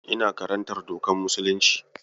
Ina karantar dokar musulunci.